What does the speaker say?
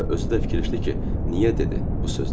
Və özü də fikirləşdi ki, niyə dedi bu sözləri?